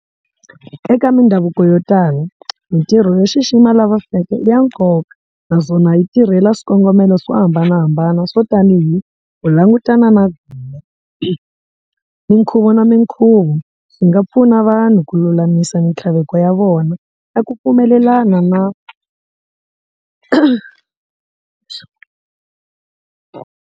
Eka mindhavuko yo tala mintirho yo xixima lava feke i ya nkoka naswona yi tirhela swikongomelo swo hambanahambana swo tanihi ku langutana na minkhuvo na minkhuvo swi nga pfuna vanhu ku lulamisa mintlhaveko ya vona na ku pfumelelana na.